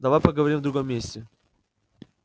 давай поговорим в другом месте